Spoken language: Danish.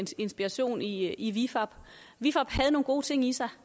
inspiration i i vifab vifab havde nogle gode ting i sig